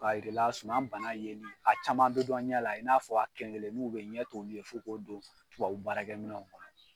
Ka yir'i la suman bana yeli a caman bɛ dɔn ɲɛ la i n'a fɔ a kelen kelenin beyi ɲɛ t'olu ye f'i k'olu don tubabubaarakɛminɛnw kɔnɔ.